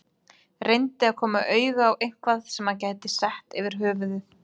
Reyndi að koma auga á eitthvað sem hann gæti sett yfir höfuðið.